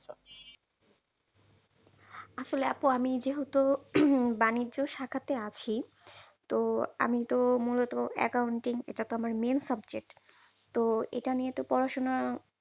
আসলে আপু আমি যেহেতু বাণিজ্য শাখাতে আছি, তো আমি তো মূলত accounting এটা তো আমার main subject. তো এটা নিয়ে তো পড়াশোনা